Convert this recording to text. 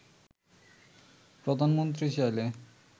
“প্রধানমন্ত্রী চাইলে